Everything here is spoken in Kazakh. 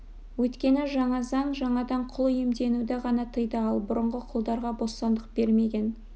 өйткені жаңа заң жаңадан құл иемденуді ғана тыйды ал бұрынғы құлдарға бостандық бермеген